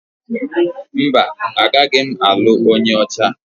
Mba, agaghị m alụ onye ọcha.